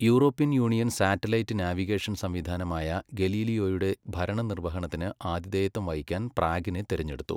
European Union satellite navigation സംവിധാനമായ ഗലീലിയോയുടെ ഭരണനിർവഹണത്തിന് ആതിഥേയത്വം വഹിക്കാൻ പ്രാഗിനെ തിരഞ്ഞെടുത്തു.